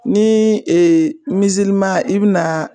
Ni i bina